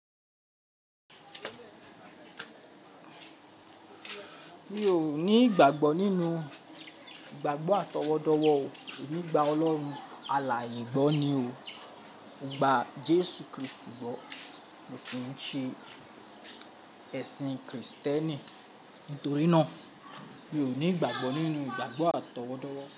Mi ò ní ìgbàgbọ́ nínú ìgbàgbọ́ àtọwọ́dọ́wọ́ o, èmi gba Ọlọ́run aláaye gbọ́ ni o. Mo gba Jésù Krístì gbọ́ mo sì ń ṣe ẹ̀sìn kìrìsìtẹ́nì. Nítorí náà mi ò ní ìgbàgbọ́ nínú ìgbàgbọ́ àtọwọ́dọ́wọ́.